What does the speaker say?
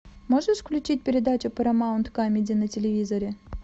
можешь включить передачу парамаунт камеди на телевизоре